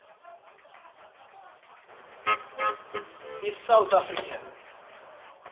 i south african